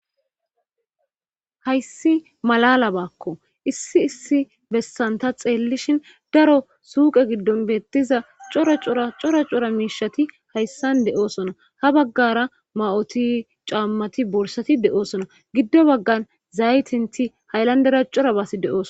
Hayssi malala baakko issi issi bessanta xeellishin daro suuqe giddon beettiza craoracora cora miishati hayssan de7oosona ha baggara ma7oti caammati borsati de7oosona giddo baggan zaytinti haylandera cora baas de7ooso